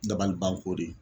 Dabalibanko de